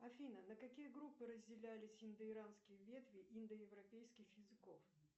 афина на какие группы разделялись индоиранские ветви индоевропейских языков